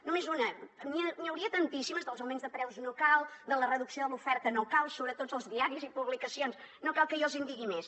només una n’hi hauria tantíssimes dels augments de preus no cal de la reducció de l’oferta no cal surt a tots els diaris i publicacions no cal que jo els en digui més